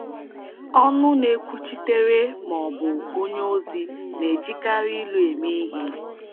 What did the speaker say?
Ọnụ na-ekwuchitere maọbụ onye ozi na-ejikarị ilu eme ihe.